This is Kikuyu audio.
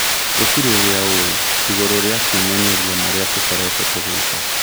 Gũtĩrĩ ũrĩa ũĩ igũrũ rĩa kwĩmenyeria marĩa tũkoretwo tũgĩka